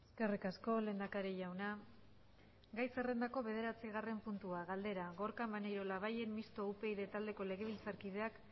eskerrik asko lehendakari jauna gai zerrendako bederatzigarren puntua galdera gorka maneiro labayen mistoa upyd taldeko legebiltzarkideak